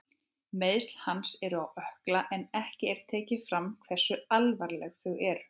Meiðsli hans eru á ökkla en ekki er tekið fram hversu alvarleg þau eru.